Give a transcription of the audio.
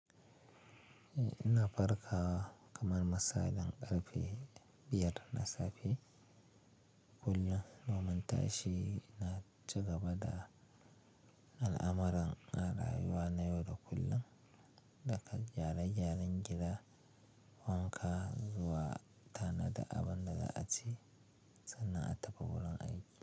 Ina farkawa kamar misalin ƙarfe biyar na safe kullum, noman tashi ina ci gaba da al'amuran na rayuwa na yau da kullum, daga gyare-gyaren gida, wanka zuwa tanada abin da za a ci sannan a tafi wurin aiki.